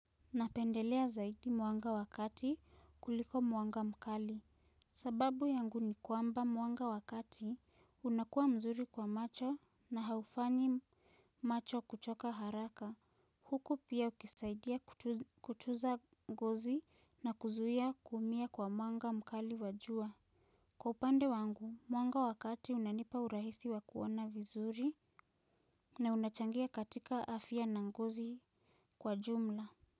Napendelea zaidi mwanga wa kati kuliko mwanga mkali. Sababu yangu ni kwamba mwanga wa kati unakuwa mzuri kwa macho na haufanyi macho kuchoka haraka. Huku pia ukisaidia kutuza ngozi na kuzuia kuumia kwa mwanga mkali wa jua. Kwa upande wangu, mwanga wa kati unanipa urahisi wa kuona vizuri na unachangia katika afya na ngozi kwa jumla.